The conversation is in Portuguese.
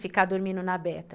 ficar dormindo na Beta.